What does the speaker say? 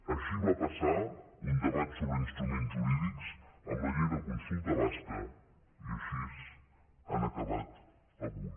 així va passar un debat sobre instruments jurídics amb la llei de consulta basca i així han acabat avui